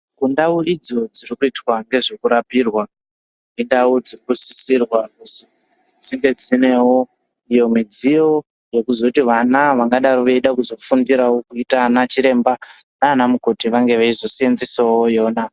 Kundau idzo dzirikuitwa ngezvekurapirwa indau dzirikusisirwa kuzi dzinge dzinewo iyo midziyo yekuzoti vana vangadaro veida kuzofundirawo kuita ana chiremba nana mukoti vange veizoseenzesawo yona.